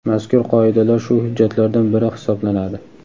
mazkur Qoidalar shu hujjatlardan biri hisoblanadi.